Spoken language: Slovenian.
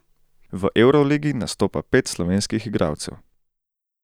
V evroligi nastopa pet slovenskih igralcev.